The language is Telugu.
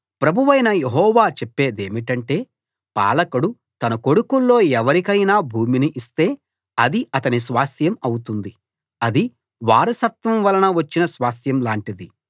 ప్రభువైన యెహోవా చెప్పేదేమిటంటే పాలకుడు తన కొడుకుల్లో ఎవరికైనా భూమిని ఇస్తే అది అతని స్వాస్థ్యం అవుతుంది అది వారసత్వం వలన వచ్చిన స్వాస్థ్యం లాంటిది